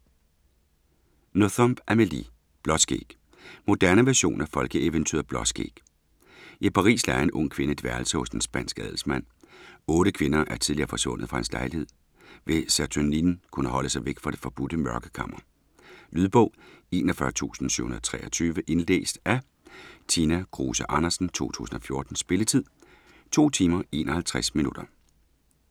Nothomb, Amélie: Blåskæg Moderne version af folkeeventyret Blåskæg. I Paris lejer en ung kvinde et værelse hos en spansk adelsmand. Otte kvinder er tidligere forsvundet fra hans lejlighed - vil Saturnine kunne holde sig væk fra det forbudte mørkekammer? Lydbog 41723 Indlæst af Tina Kruse Andersen, 2014. Spilletid: 2 timer, 51 minutter.